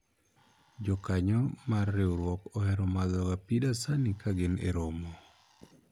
jokanyo mar riwruok ohero madho ga pii dasani ka gin e romo